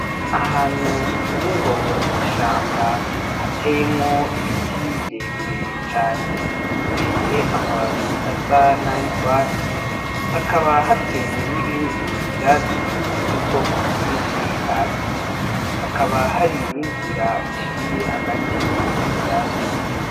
Ahantu umpengo nishamba hateyemwo ibiti birebire cane bifise amababi asa na y'urwatsi hakaba hateye n'ibindi vyatsi vy'ubwoko bwinshi hasi hakaba harininzira iciye hagati muri ivyo vyatsi.